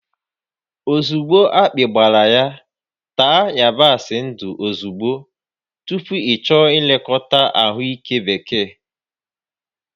Ozugbo akpị gbara ya, taa yabasị ndụ ozugbo tupu ịchọọ nlekọta ahụike bekee